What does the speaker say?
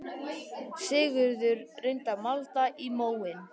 Sigurður reyndi að malda í móinn